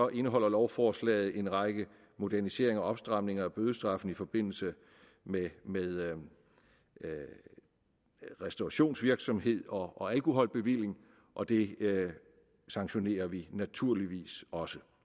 indeholder lovforslaget en række moderniseringer og opstramninger af bødestraffene i forbindelse med med restaurationsvirksomhed og alkoholbevilling og det sanktionerer vi naturligvis også